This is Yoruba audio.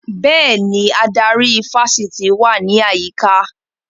Bẹ́ẹ̀ni, adarí ifásitì wà ní àyíká